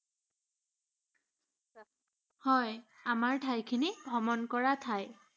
হয়, আমাৰ ঠাইখিনি ভ্ৰমণ কৰা ঠাই।